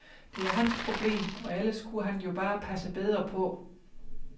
Det er hans problem og ellers kunne han jo bare passe bedre på.